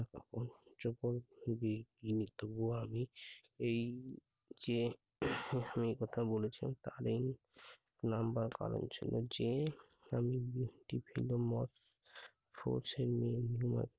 অসভ্য খুবই ইয়ে তবুও আমি এই যে, তিনি এই কথা বলেছেন তাহলেই number পালন ছিল যে অনেকগুলো ভিন্ন মত